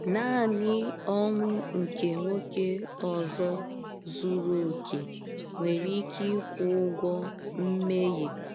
Naanị ọnwụ nke nwoke ọzọ zuru oke nwere ike ịkwụ ụgwọ mmehie.